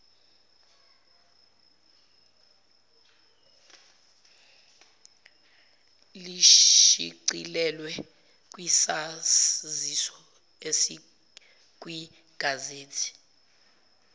lishicilelwe kwisaziso esikwigazethi